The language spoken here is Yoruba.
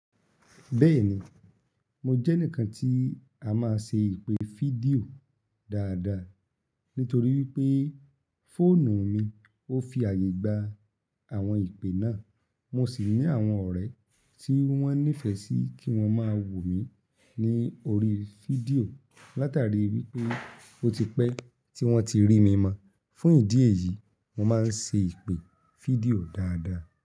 Bẹ́ẹ̀ni, mo jẹ́ enikan tí a máa ń ṣe ìpè fídíò dáadáa nítorí pé fóònù mi ó fi àyè gba àwọn ìpè náà. Mo sì ní àwọn ọ̀rẹ́ tí wọ́n nífẹ̀ẹ́ sí kí wọ́n máa wò mí ní oríi fídíò látàríi wipé ó ti pẹ́ tí wọ́n ti rí mi mọ́. Fún ìdí èyí, mo máa ń ṣe ìpè fídíò dáadáa.